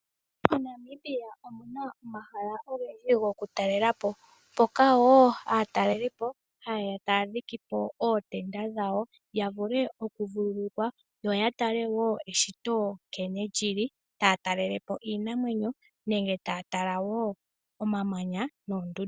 MoNamibia omuna omahala ogendji gokutalela po mpoka wo aatalelipo ha yeya taya dhike ootebda dhawo ya vule oku vululukwa yo ya tale wo eshito nkene lyili. Taya talele po iinamwenyo nenge omamanya noondundu.